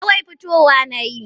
Kawai fitowa na yi.